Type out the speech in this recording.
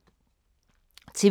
TV 2